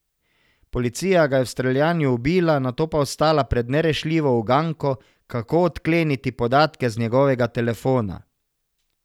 Policija ga je v streljanju ubila, nato pa ostala pred nerešljivo uganko, kako odkleniti podatke z njegovega telefona.